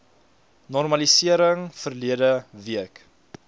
normaliseer verlede week